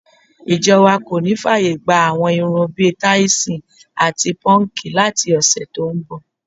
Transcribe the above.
Ìjo̩ wa kò ní fáàyè gba àwo̩n irun bi táìsò̩n àti pó̩nǹkì láti ò̩sè̩ tó ń bò̩.